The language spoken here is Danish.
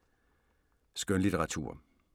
Skønlitteratur